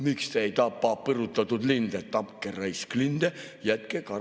Miks te ei tapa põrutatud linde, tapke, raisk, linde, jätke kalad rahule.